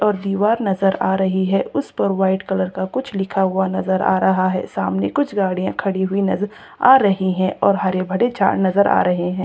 और दिवार नजर आ रही है उस पर वाइट कलर का कुछ लिखा हुआ नजर आ रहा है सामने कुछ गाड़ियां खड़ी हुई नजर आ रही है और हरे भरे झाड़ नजर आ रहे है।